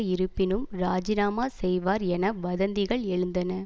இருப்பினும் ராஜினாமா செய்வார் என வதந்திகள் எழுந்தன